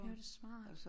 Det var da smart